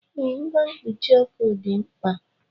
Ee, ngwa mkpuchi ọkụ dị mkpa